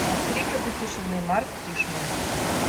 от крика до тишины марк тишман